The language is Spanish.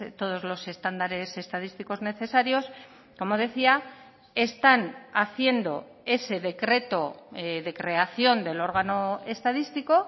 todos los estándares estadísticos necesarios como decía están haciendo ese decreto de creación del órgano estadístico